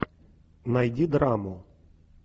найди драму